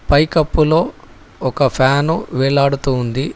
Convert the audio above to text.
పైకప్పులో ఒక ఫ్యాను వేలాడుతూ ఉంది.